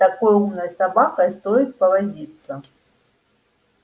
с такой умной собакой стоит повозиться